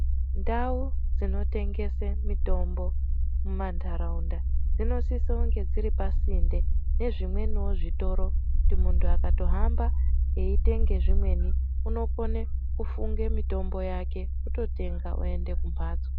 Ndau dzinotengese mitombo mumantharaunda, dzinosisounge dziri pasinde nezvimweniwo zvitoro. Muntu akahamba eitenge zvimweni ,unokone kufunge mitombo yake, ototenga oende kumphatso.